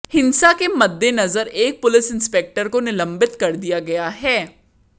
हिंसा के मद्देनजर एक पुलिस इंस्पेक्टर को निलंबित कर दिया गया है